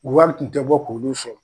Wari kun tɛ bɔ k'olu sɔrɔ